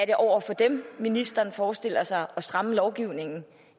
er over for dem ministeren forestiller sig at stramme lovgivningen